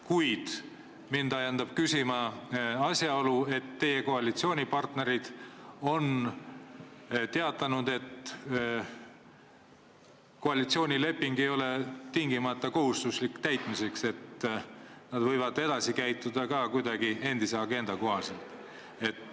Kuid mind ajendab küsima asjaolu, et teie koalitsioonipartnerid on teatanud, et koalitsioonileping ei ole tingimata kohustuslik täita, et nad võivad edaspidi käituda ka endise agenda kohaselt.